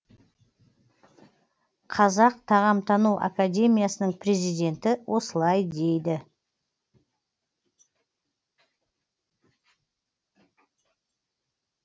қазақ тағамтану академиясының президенті осылай дейді